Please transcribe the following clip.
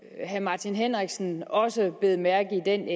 at herre martin henriksen også bed mærke i den